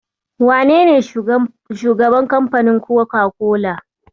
Wanene shugaban kamfanin Koka-kola?